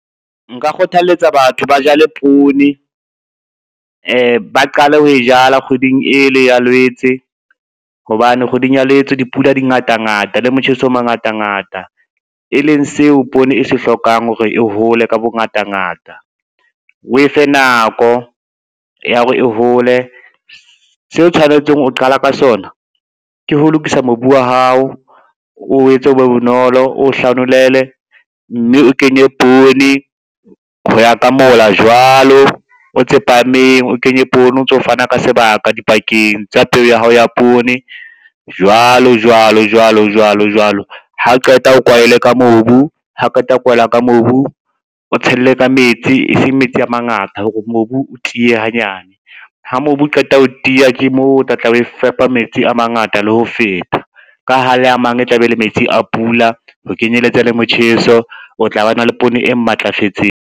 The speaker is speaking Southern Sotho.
Nka kgothaletsa batho ba jale poone, ba qale ho e jala kgweding e le ya Lwetse, hobane kgweding ya Lwetse dipula di ngatangata le motjheso o mangatangata, e leng seo poone e se hlokang hore e hole ka bongatangata, o efe nako ya hore e hole. Seo tshwanetseng ho qala ka sona, ke ho lokisa mobu wa hao, o etse o be bonolo o hlanolele, mme o kenye poone ho ya ka mola jwalo o tse phahameng, o kenye poone o ntso fana ka sebaka dipakeng tsa peo ya hao ya poone, jwalo, jwalo, jwalo, jwalo, jwalo, ha o qeta o kwahele ka mobu, hao qeta ho kwaela ka mobu, o tshelle ka metsi e seng metsi a mangata hore mobu o tiye hanyane, ha mobu o qeta ho tiya ke moo o tla tla o fepa metsi a mangata le ho feta, ka ha le a mang e tla be le metsi a pula ho kenyeletsa le motjheso, o tla ba na le poone e matlafetseng.